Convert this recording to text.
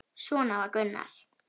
Svona var Gunnar.